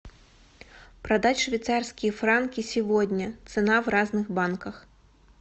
продать швейцарские франки сегодня цена в разных банках